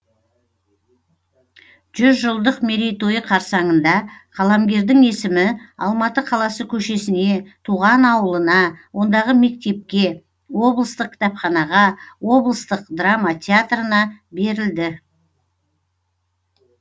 жүз жылдық мерейтойы қарсаңында қаламгердің есімі алматы қаласы көшесіне туған ауылына ондағы мектепке облыстық кітапханаға облыстық драма театрына берілді